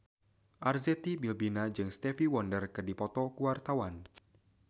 Arzetti Bilbina jeung Stevie Wonder keur dipoto ku wartawan